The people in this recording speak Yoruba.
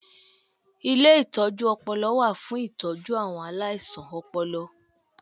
Ilé ìtọjú ọpọlọ wà fún ìtọ́jú àwọn aláìsàn ọpọlọ